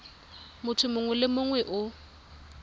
motho mongwe le mongwe o